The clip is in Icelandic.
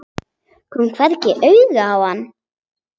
Kom hvergi auga á hana.